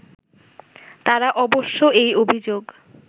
তারা অবশ্য এই অভিযোগ